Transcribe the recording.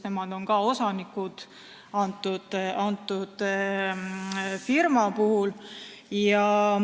Nemad on ka selle firma osanikud.